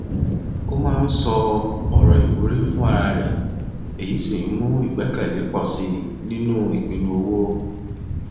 ó máa ń sọ ọrọ ìwúrí fún ara rẹ èyí sì ń mú ìgbẹkẹlé pọ sí i nínú ìpinnu owó